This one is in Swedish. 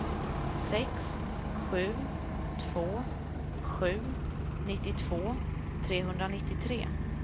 sex sju två sju nittiotvå trehundranittiotre